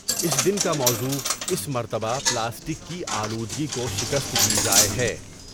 اس دن کا موضوع اس مرتبہ پلاسٹک کی آلودگی کو شکست دی جاۓ ہے ۔